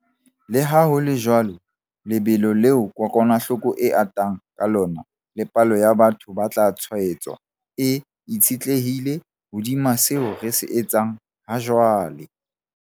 Le ha ho le jwalo, lebelo leo kokwanahloko e atang ka lona le palo ya batho ba tla tshwaetswa e itshetlehile hodima seo re se etsang hajwale.